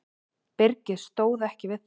Byrgið stóð ekki við það.